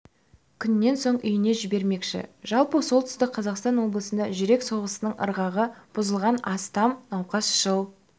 күннен соң үйіне жібермекші жалпы солтүстік қазақстан облысында жүрек соғысының ырғағы бұзылған астам науқасқа жыл